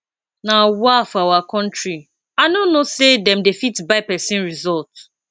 nawa for our country i no know say dem they fit buy person result